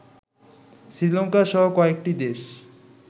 শ্রীলঙ্কাসহ কয়েকটি দেশ